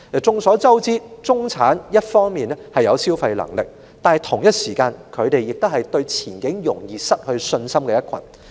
眾所周知，中產一方面有消費能力，但同時亦是對前景容易失去信心的一群。